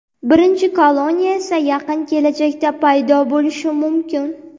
Birinchi koloniya esa yaqin kelajakda paydo bo‘lishi mumkin.